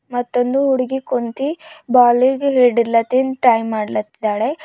ಮತ್ತೊಂದು ಹುಡುಗಿ ಕುಂತಿ ಬಾಲಿಂಗ್ ಹಿಡಿಲತ್ತಿನ್ ಟ್ರೈ ಮಾಡಲತ್ತಿದ್ದಿದಾಳೆ.